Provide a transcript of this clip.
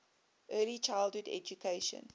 early childhood education